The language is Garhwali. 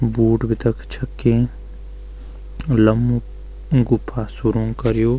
बूट भी तख छक्कीं लम्ब गुफा सुरंग कर्युं।